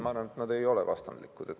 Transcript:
Ma arvan, et nad ei ole vastandlikud.